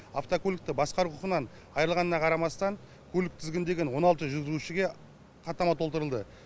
автокөлікті басқару құқығынан айырылғанына қарамастан көлік тізгіндеген он алты жүргізушіге хаттама толтырылды